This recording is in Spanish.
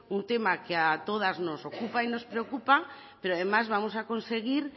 un tema que a todas nos ocupa y nos preocupa pero además vamos a conseguir